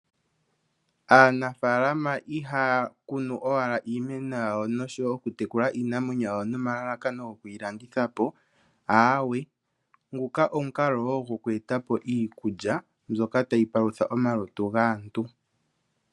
Aanafalama iha yakunu owala iimeno yawo noshowo okutekula iinamwenyo yawo nelalakano lyokiilandithapo, ahawe, nguka ogo wo omukalo gokuetapo iikulya mbyoka tayipalutha omalutu gaantu.